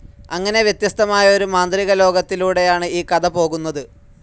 അങ്ങനെ വ്യത്യസ്തമായ ഒരു മാന്ത്രികലോകത്തിലൂടെയാണ് ഈ കഥ പോകുന്നത്.